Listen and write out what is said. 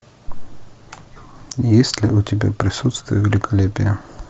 есть ли у тебя присутствие великолепия